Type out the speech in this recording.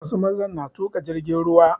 Wasu mazan na tuƙa jirgin ruwa